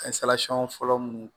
fɔlɔ munnu